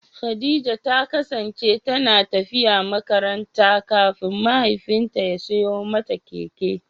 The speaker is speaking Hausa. Khadija ta kasance tana tafiya makaranta kafin mahaifinta ya siyo mata keke.